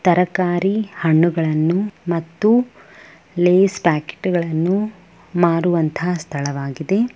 ತರಕಾರಿ ಹಣ್ಣುಗಳನ್ನು ಮತ್ತು ಲೇಸ್ ಪ್ಯಾಕೆಟ್ ಗಳನ್ನು ಮಾರುವಂತಹ ಸ್ಥಳವಾಗಿದೆ.